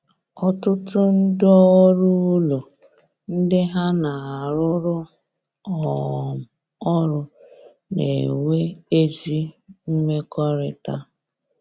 Ọtụtụ ndị ọrụ ụlọ ndị ha na arụ rụ um ọrụ na-enwe ezi mmekọrịta